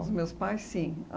Os meus pais, sim.